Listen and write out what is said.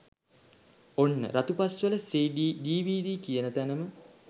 ඔන්න 'Ratupaswala CD DVD' කියන තැනම